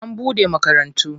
An bude makarantu.